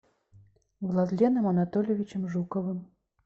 владленом анатольевичем жуковым